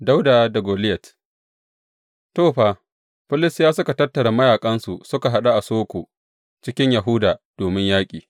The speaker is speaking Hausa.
Dawuda da Goliyat To, fa, Filistiyawa suka tattara mayaƙansu suka haɗu a Soko cikin Yahuda domin yaƙi.